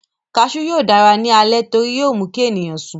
Kasú yóò dára ní alẹ́ torí yóó mú kí ènìyàn sùn